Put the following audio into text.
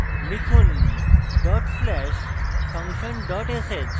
লিখুন: dot slash function dot sh